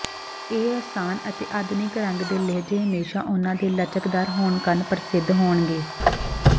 ਇਹ ਆਸਾਨ ਅਤੇ ਆਧੁਨਿਕ ਰੰਗ ਦੇ ਲਹਿਜ਼ੇ ਹਮੇਸ਼ਾ ਉਨ੍ਹਾਂ ਦੇ ਲਚਕਦਾਰ ਹੋਣ ਕਾਰਨ ਪ੍ਰਸਿੱਧ ਹੋਣਗੇ